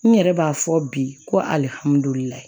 N yɛrɛ b'a fɔ bi ko alihamudulilayi